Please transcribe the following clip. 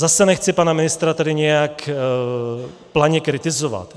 Zase nechci pana ministra tady nějak planě kritizovat.